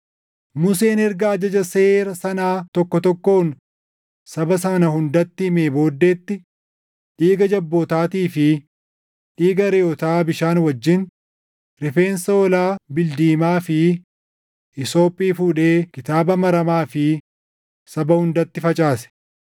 Museen erga ajaja seera sanaa tokko tokkoon saba sana hundatti himee booddeetti, dhiiga jabbootaatii fi dhiiga reʼootaa bishaan wajjin, rifeensa hoolaa bildiimaa fi hiisophii fuudhee kitaaba maramaa fi saba hundatti facaase.